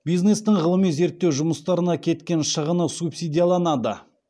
бизнестің ғылыми зерттеу жұмыстарына кеткен шығыны субсидияланады